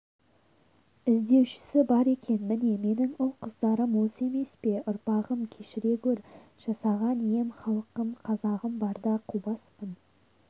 іздеушісі бар екен міне менің ұл-қыздарым осы емес пе ұрпағым кешіре гөр жасаған ием халқым қазағым барда қубаспын